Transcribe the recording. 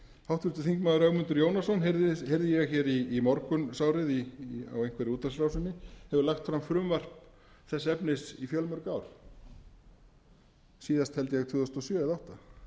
háttvirtur þingmaður ögmundur jónasson heyrði ég hér í morgunsárið á einhverri útvarpsrásinni hefur lagt fram frumvarp þess efnis í fjölmörg ár síðast held ég tvö þúsund og sjö eða tvö þúsund og átta